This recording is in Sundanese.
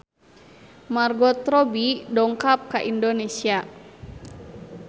Margot Robbie dongkap ka Indonesia